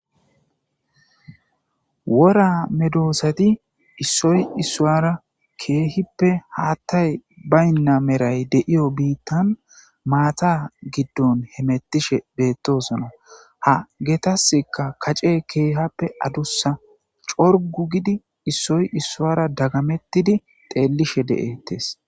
Woora medosati issoy isara kehipe hatay bayina medhoy bayina bittan mata mishe betosona ha hetaska kacey adusa corugu gidi issoy isara dagametidi xelish de'es